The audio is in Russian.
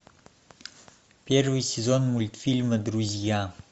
первый сезон мультфильма друзья